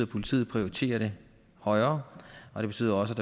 politiet prioriterer det højere og det betyder også